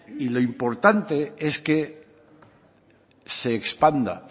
y lo importante es que se expanda